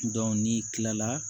n'i kilala